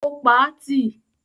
Ó pa á tì.